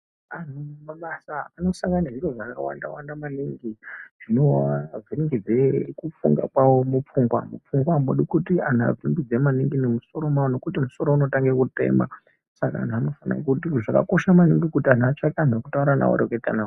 Antu mumabasa anosangana nezviro zvakawanda wanda maningi zvinoavhiringidza kufunga kwavo mupfungwa mupfungwa amudi kuti antu avhiringidzwe maningi mumusoro mwavo nekuti musoro unotanga kutema saka antu anofana kuti zvakakosha maningi kuti antu atsvake antu ekutaura nawo oreketa nawo.